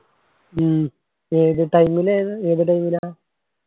ഉം ഏത് time ലു ഏത് time ലാ